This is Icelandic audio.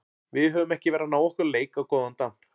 Við höfum ekki verið að ná okkar leik á góðan damp.